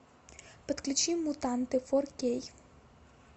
подключи мутанты фор кей